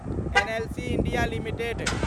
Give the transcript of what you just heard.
NLC India limited